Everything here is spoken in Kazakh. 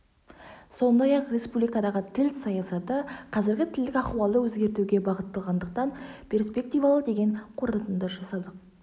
сондай-ақ республикадағы тіл саясаты қазіргі тілдік ахуалды өзгертуге бағытталғандықтан перспективалы деген қорытынды жасадық